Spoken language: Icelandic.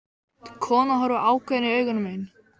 Konan horfir ákveðin í augu mín.